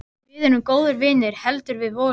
Við erum góðir vinir heldur við vorum.